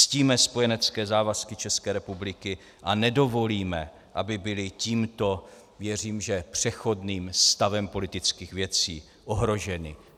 Ctíme spojenecké závazky České republiky a nedovolíme, aby byly tímto - věřím, že přechodným - stavem politických věcí ohroženy.